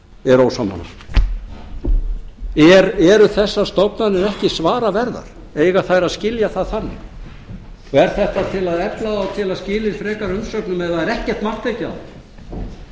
er ósammála eru þessar stofnanir ekki svara verðar eiga þær að skilja það þannig og er þetta til að efla þá til að skila inn frekari umsögnum ef það er ekkert mark tekið á